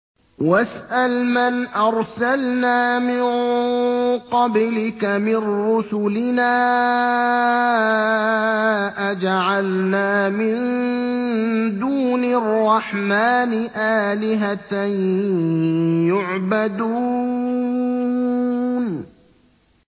وَاسْأَلْ مَنْ أَرْسَلْنَا مِن قَبْلِكَ مِن رُّسُلِنَا أَجَعَلْنَا مِن دُونِ الرَّحْمَٰنِ آلِهَةً يُعْبَدُونَ